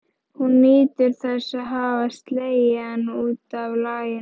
Hún nýtur þess að hafa slegið hann út af laginu.